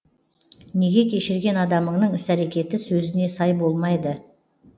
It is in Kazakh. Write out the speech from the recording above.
неге кешірген адамыңның іс әрекеті сөзіне сай болмайды